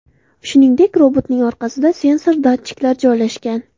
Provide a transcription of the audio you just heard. Shuningdek, robotning orqasida sensor datchiklar joylashgan.